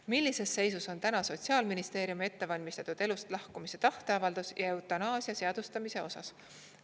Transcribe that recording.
Millises seisus on täna Sotsiaalministeeriumi ettevalmistused elust lahkumise tahteavalduse ja eutanaasia seadustamise osas?